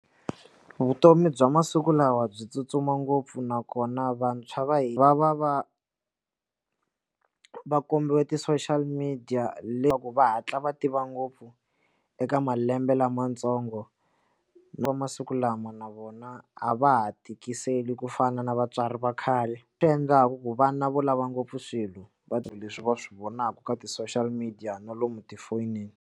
Vutomi bya masiku lawa byi tsutsuma ngopfu nakona vantshwa va hi va va va va kombiwe ti-social media leswaku va hatla va tiva ngopfu eka malembe lamantsongo ni va masiku lama na vona a va ha tikiseli kufana na vatswari vakhale swi endlaku ku vana vo lava ngopfu swilo va leswi va swi vonaka ka ti-social media na lomu tifonini.